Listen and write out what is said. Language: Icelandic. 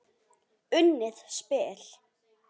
Unnið spil.